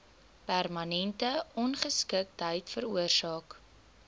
permanente ongeskiktheid veroorsaak